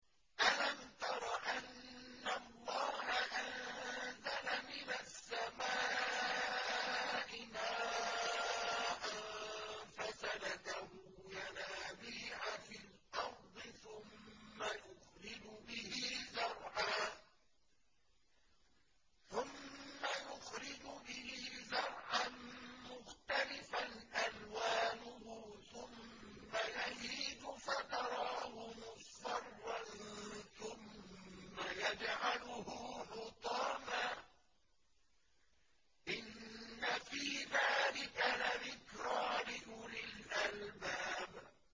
أَلَمْ تَرَ أَنَّ اللَّهَ أَنزَلَ مِنَ السَّمَاءِ مَاءً فَسَلَكَهُ يَنَابِيعَ فِي الْأَرْضِ ثُمَّ يُخْرِجُ بِهِ زَرْعًا مُّخْتَلِفًا أَلْوَانُهُ ثُمَّ يَهِيجُ فَتَرَاهُ مُصْفَرًّا ثُمَّ يَجْعَلُهُ حُطَامًا ۚ إِنَّ فِي ذَٰلِكَ لَذِكْرَىٰ لِأُولِي الْأَلْبَابِ